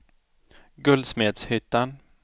Guldsmedshyttan